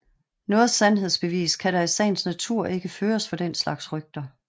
Noget sandhedsbevis kan der i sagens natur ikke føres for den slags rygter